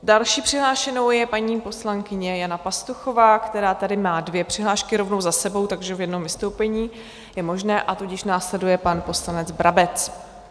Další přihlášenou je paní poslankyně Jana Pastuchová, která tady má dvě přihlášky rovnou za sebou, takže v jednom vystoupení je možné, a tudíž následuje pan poslanec Brabec.